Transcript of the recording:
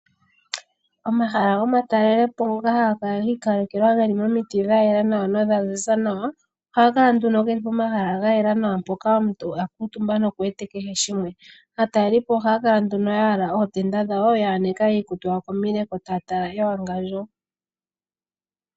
Omahala gomatalelopo oongoka haga kala gi ikalekelwa geli momiti dha yela nawa nodha ziza nawa. Ohaga kala nduno geli po mahala ga yela nawa mpoka omuntu akuutumba noku wete kehe shimwe. Aatalelipo ohaya kala nduno ya yala ootenda dhawo, ya aneka iikutu yawo komileko taya tala ewangandjo.